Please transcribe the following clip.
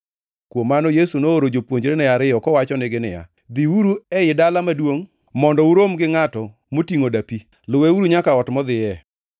Kuom mano Yesu nooro jopuonjrene ariyo kowachonegi niya, “Dhiuru ei dala maduongʼ mondo urom gi ngʼato motingʼo dapi. Luweuru nyaka ot modhiye.